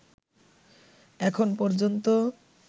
এখন পর্যন্ত